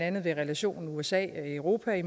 andet relationen usa europa